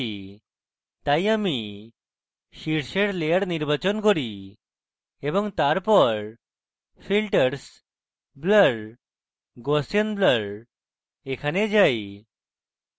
তাই আমি শীর্ষের layer নির্বাচন করি এবং তারপর filters blur gaussian blur এ যাই